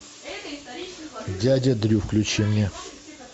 дядя дрю включи мне